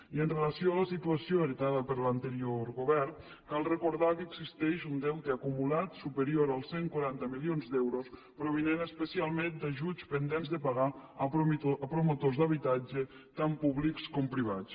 i amb relació a la situació heretada per l’anterior govern cal recordar que existeix un deute acumulat superior als cent i quaranta milions d’euros provinent especialment d’ajuts pendents de pagar a promotors d’habitatge tant públics com privats